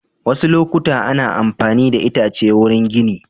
Wasu lokuta ana mafani da itace wurin gini.